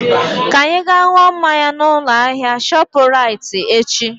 Ka anyị ga ṅụọ mmanya na ụlọ ahịa shọpu raiti echi